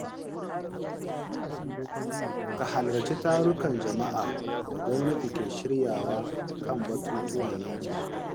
Ka halarci tarukan jama’a da gwamnati ke shiryawa kan batutuwan yankinku.